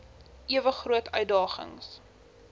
ewe groot uitdagings